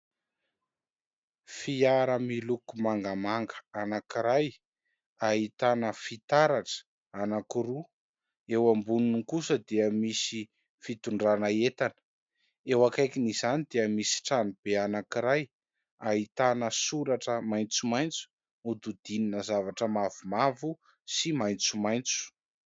Fiara miloko mangamanga anankiray ahitana fitaratra anankiroa ; eo amboniny kosa dia misy fitondrana entana. Eo akaikin'izany dia misy trano be anankiray ahitana soratra maitsomaitso hodidinina zavatra mavomavo sy maitsomaitso.